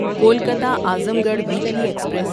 Kolkata Azamgarh Weekly express